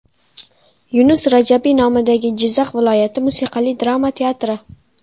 Yunus Rajabiy nomidagi Jizzax viloyati musiqali drama teatri.